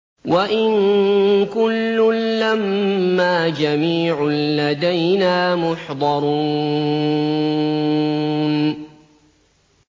وَإِن كُلٌّ لَّمَّا جَمِيعٌ لَّدَيْنَا مُحْضَرُونَ